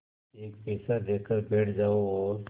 एक पैसा देकर बैठ जाओ और